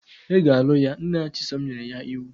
Ị ga-alụ ya! Nna Chisom nyere ya iwu.